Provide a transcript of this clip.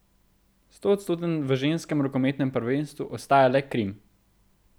Stoodstoten v ženskem rokometnem prvenstvu ostaja le Krim.